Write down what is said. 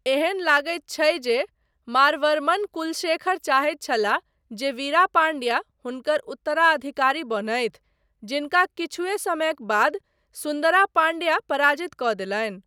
एहन लगैत छै जे मारवर्मन कुलशेखर चाहैत छलाह जे विरा पांड्या हुनकर उत्तराधिकारी बनथि, जिनका किछुए समयक बाद सुन्दरा पाण्ड्या पराजित कऽ देलनि।